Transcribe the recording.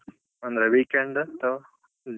ಅಂದ್ರೆ weekend ಆ ಅತ್ವಾ .